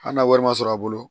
Hali n'a wari ma sɔrɔ a bolo